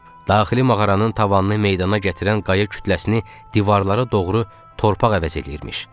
Daxili mağaranın tavanını meydana gətirən qaya kütləsini divarlara doğru torpaq əvəz eləyirmiş.